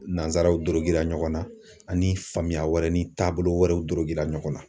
Nansaraw dorodera ɲɔgɔn na ani faamuya wɛrɛ ni taabolo wɛrɛw dorogera ɲɔgɔn na